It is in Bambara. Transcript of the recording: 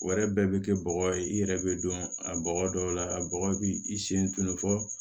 O yɛrɛ bɛɛ bɛ kɛ bɔgɔ ye i yɛrɛ bɛ don a bɔgɔ dɔw la a bɔgɔ b'i i sen tunun fɔ